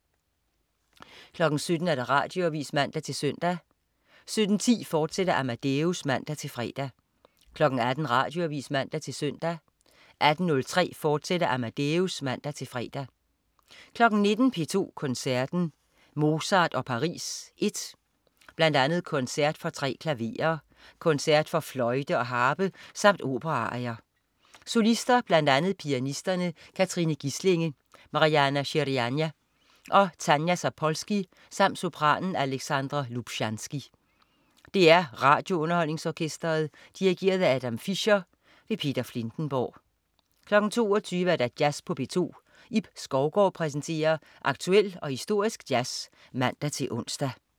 17.00 Radioavis (man-søn) 17.10 Amadeus, fortsat (man-fre) 18.00 Radioavis (man-søn) 18.03 Amadeus. Fortsat (man-fre) 19.00 P2 Koncerten. Mozart og Paris (I). Bl.a. Koncert for 3 klaverer, Koncert for fløjte og harpe samt operaarier. Solister: Bl.a. pianisterne Katrine Gislinge, Marianna Shirinyan og Tanja Zapolski samt sopranen Alexandra Lubchansky. DR RadioUnderholdningsOrkestret. Dirigent: Adam Fischer. Peter Filtenborg 22.00 Jazz på P2. Ib Skovgaard præsenterer aktuel og historisk jazz (man-ons)